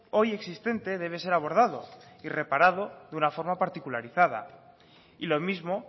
hoy existente debe ser abordado y reparado de una forma particularizada y lo mismo